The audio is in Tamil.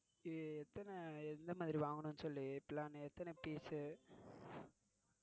இது எத்தனை எந்த மாதிரி வாங்கணும்னு சொல்லி plan எத்தன piece